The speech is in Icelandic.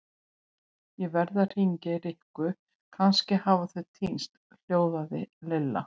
Ég verð að hringja í Rikku, kannski hafa þau týnst hljóðaði Lilla.